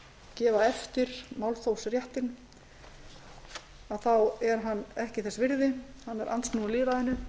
gefa eftir málþófsréttinn þá er hann ekki þess virði hann er andsnúinn lýðræðinu